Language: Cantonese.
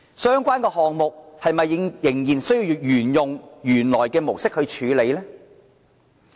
相關的項目又是否需要沿用原來的模式來處理呢？